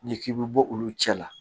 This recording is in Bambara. N'i k'i bɛ bɔ olu cɛ la